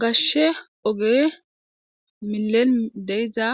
gashshe oge milen deiza